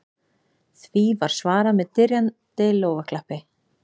Því var svarað með dynjandi lófaklappi